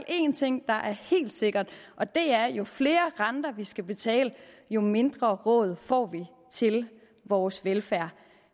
en ting der er helt sikker og det er at jo flere renter vi skal betale jo mindre råd får vi til vores velfærd